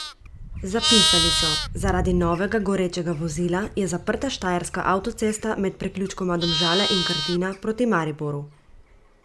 Zapisali so: "Zaradi novega gorečega vozila je zaprta štajerska avtocesta med priključkoma Domžale in Krtina proti Mariboru.